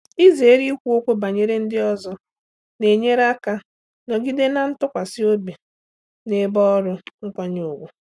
Izere ikwu okwu banyere ndị ọzọ na-enyere aka nọgide na ntụkwasị obi na ebe ọrụ nkwanye ùgwù.